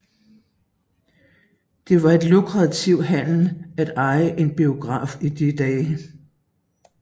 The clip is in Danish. Det var en lukrativ handel at eje en biograf i de dage